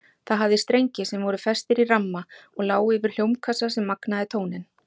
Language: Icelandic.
Það hafði strengi sem voru festir í ramma og lágu yfir hljómkassa sem magnaði tóninn.